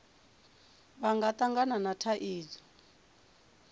vha nga tangana na thaidzo